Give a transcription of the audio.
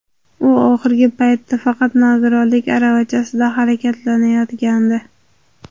U oxirgi paytda faqat nogironlik aravachasida harakatlanayotgandi.